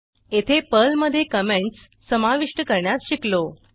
येथे पर्लमधे कॉमेंटस समाविष्ट करण्यास शिकलो